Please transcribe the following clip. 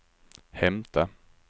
hämta